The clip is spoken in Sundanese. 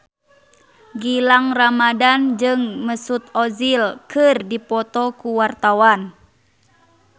Gilang Ramadan jeung Mesut Ozil keur dipoto ku wartawan